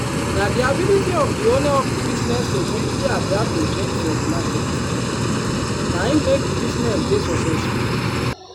na di ability of di owner of di business to quickly adapt to change for di market na im make di business dey successful.